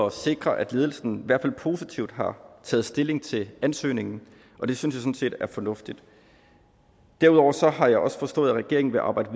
at sikre at ledelsen i hvert fald positivt har taget stilling til ansøgningen og det synes jeg sådan set er fornuftigt derudover har jeg også forstået at regeringen vil arbejde